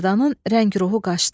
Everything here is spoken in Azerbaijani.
Mərdanın rəng ruhu qaçdı.